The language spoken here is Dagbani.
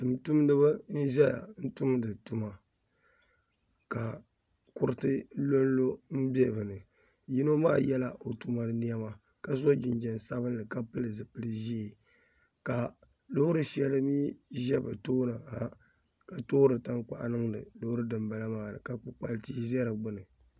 Tuun tumdi ba n ʒeya n tumdi tuma ka kuriti lo n lo n be bini. Yino maa yela o tuma ni nema ka so jinjam Sabinli ka pil zipil ʒee ka loori sheli mi ʒɛ bɛ tooni ha ka toori tankpuɣu n niŋdi loori din bala maa ni ka kpikpal tia ʒɛ di gbuni.